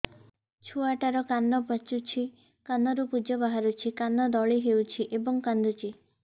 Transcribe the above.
ଛୁଆ ଟା ର କାନ ପାଚୁଛି କାନରୁ ପୂଜ ବାହାରୁଛି କାନ ଦଳି ହେଉଛି ଏବଂ କାନ୍ଦୁଚି